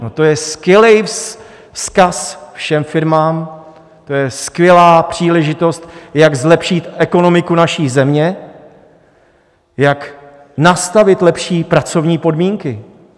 No, to je skvělý vzkaz všem firmám, to je skvělá příležitost, jak zlepšit ekonomiku naší země, jak nastavit lepší pracovní podmínky.